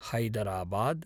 Hyderabad